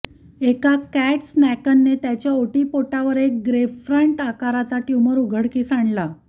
एका कॅट स्कॅनने त्याच्या ओटीपोटावर एक ग्रेपफ्रंट आकाराच्या ट्यूमर उघडकीस आणला